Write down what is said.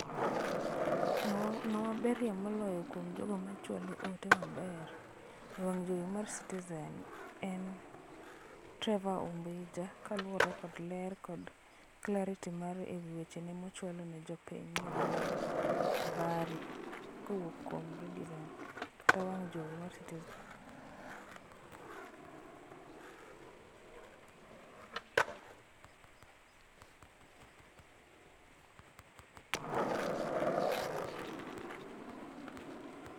Ngama berie moloyo kuom jogo machwalo ote maber e wang' jowi mar Citizen en Trevor Ombija kaluore kod ler kod clarity e wechene mochwalo ne jopiny mawinjo abari kowuok kuom Citizen kata wang' jowi mar Citizen.